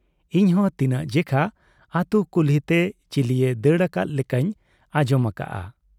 ᱤᱧᱦᱚᱸ ᱛᱤᱱᱟᱹᱜ ᱡᱮᱠᱷᱟ ᱟᱹᱛᱩ ᱠᱩᱞᱦᱤᱛᱮ ᱪᱤᱞᱤᱭᱮ ᱫᱟᱹᱲ ᱟᱠᱟᱫ ᱞᱮᱠᱟᱧ ᱟᱸᱡᱚᱢ ᱟᱠᱟᱜ ᱟ᱾